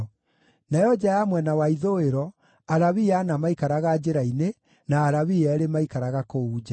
Nayo nja ya mwena wa ithũĩro, Alawii ana maikaraga njĩra-inĩ, na Alawii eerĩ maikaraga kũu nja.